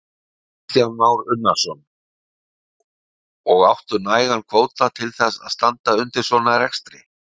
Kristján Már Unnarsson: Og áttu nægan kvóta til þess að standa undir svona rekstri?